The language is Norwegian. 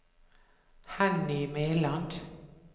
Henny Meland